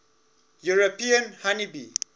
european honey bee